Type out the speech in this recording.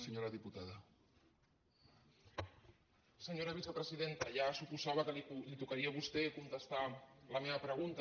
senyora vicepresidenta ja suposava que li tocaria a vostè contestar la meva pregunta